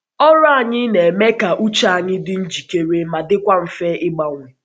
Ọrụ anyị na-eme ka uche anyị dị njikere ma dịkwa mfe ịgbanwe.